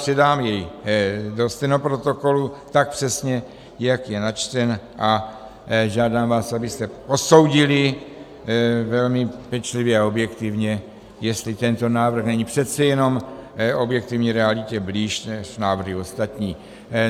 Předám jej do stenoprotokolu tak přesně, jak je načten, a žádám vás, abyste posoudili velmi pečlivě a objektivně, jestli tento návrh není přece jenom objektivní realitě blíž než návrhy ostatní.